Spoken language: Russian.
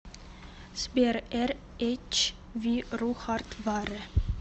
сбер эр эч ви ру хард варе